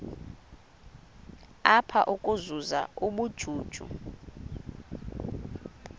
apha ukuzuza ubujuju